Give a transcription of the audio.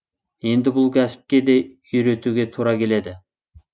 енді бұл кәсіпке де үйретуге тура келеді